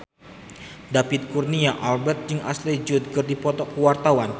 David Kurnia Albert jeung Ashley Judd keur dipoto ku wartawan